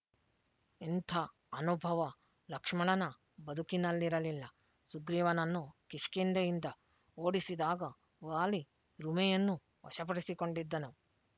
ಇಂಥ ಅನುಭವ ಲಕ್ಷ್ಮಣನ ಬದುಕಿನಲ್ಲಿರಲಿಲ್ಲ ಸುಗ್ರೀವನನ್ನು ಕಿಷ್ಕಿಂಧೆಯಿಂದ ಓಡಿಸಿದಾಗ ವಾಲಿ ರುಮೆಯನ್ನೂ ವಶಪಡಿಸಿಕೊಂಡಿದ್ದನು